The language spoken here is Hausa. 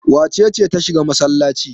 Wace ce ta shiga masallaci?